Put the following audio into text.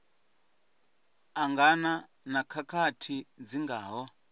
angana na khakhathi dzi ngaho